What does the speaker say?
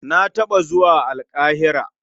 Na taɓa zuwa Alƙahira.